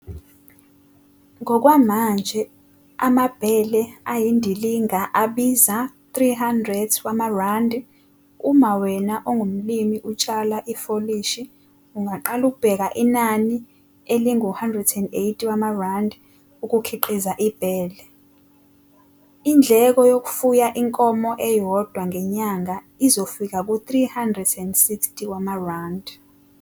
Ngokwamanje amabhele ayindilinga abiza R300, uma wena ongumlimi utshala ifolishi ungaqala ukubheka inani elingu-R180 ukukhiqiza ibhele. Indleko yokufuya inkomo eyodwa ngenyanga izofika ku-R360.